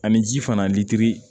Ani ji fana litiri